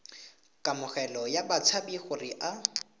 kamogelo ya batshabi gore a